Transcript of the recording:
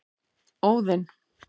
Óðinn